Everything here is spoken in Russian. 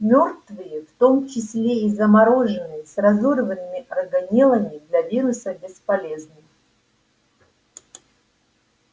мёртвые в том числе и замороженные с разорванными органеллами для вируса бесполезны